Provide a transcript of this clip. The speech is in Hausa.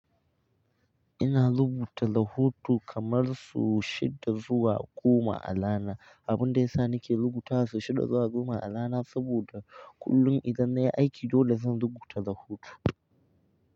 Ina rubuta rahoto kamar su shida zuwa goma a rana. Abun da ya sa nake rubuta su shida zuwa goma a rana saboda kullum idan na yi aiki dole zan rubuta rahoto.